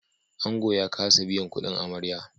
Angon ya kasa biyan kudin amarya